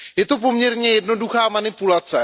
Je to poměrně jednoduchá manipulace.